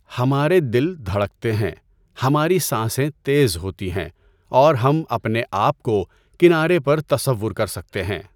ہمارے دل دھڑکتے ہیں، ہماری سانسیں تیز ہوتی ہیں، اور ہم اپنے آپ کو کنارے پر تصور کر سکتے ہیں۔